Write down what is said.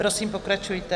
Prosím, pokračujte.